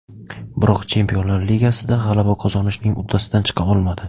Biroq Chempionlar Ligasida g‘alaba qozonishning uddasidan chiqa olmadi.